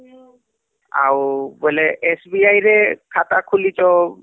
ଆଉ ବୋଲେ SBI ରେ ଖାତା ଖୁଲିଛ